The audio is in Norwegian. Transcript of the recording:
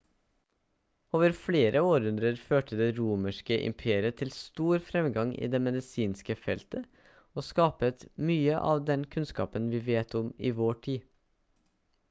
over flere århundrer førte det romerske imperiet til stor fremgang i det medisinske feltet og skapte mye av den kunnskapen vi vet om i vår tid